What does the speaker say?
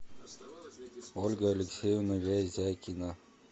ольга алексеевна вязякина